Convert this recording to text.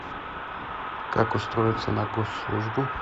как устроиться на госслужбу